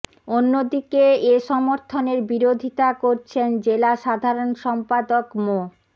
অন্যদিকে এ সমর্থনের বিরোধিতা করছেন জেলা সাধারণ সম্পাদক মো